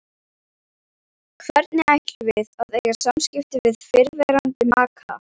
Hvernig ætlum við að eiga samskipti við fyrrverandi maka?